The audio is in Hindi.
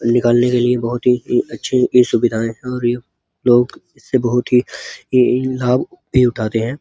निकालने के लिए बहोत ही ए अच्छी ई सुविधाएँ और ये लोग इससे बहोत ही ई लाभ भी उठाते है।